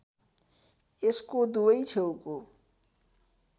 यसको दुवै छेउको